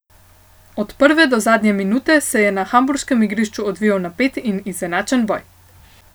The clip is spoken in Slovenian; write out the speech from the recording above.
Od prve do zadnje minute se je na hamburškem igrišču odvijal napet in izenačen boj.